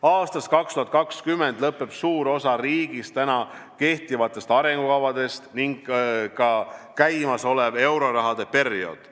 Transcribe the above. Aastast 2020 lõpeb suure osa riigis praegu kehtivate arengukavade kehtivusaeg ning ka käimasolev eurorahaperiood.